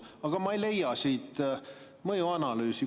Aga ma ei leia siit mõjuanalüüsi.